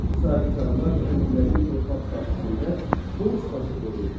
Sahibkarlar kəndlinin torpaq sahəsində borc daşı qoyurdu.